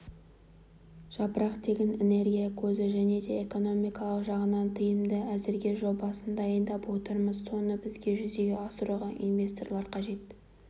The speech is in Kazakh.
жапырақ тегін энергия көзі және де экономикалық жағынан тиімді әзірге жобасын дайындап отырмыз соны бізге жүзеге асыруға инвесторлар қажет